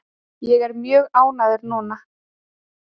Ég er mjög ánægður núna.